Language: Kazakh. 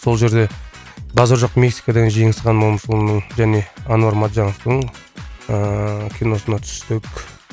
сол жерде базар жоқ мексика деген жеңісхан момышұлының және әнуар матжановтың ыыы киносына түстік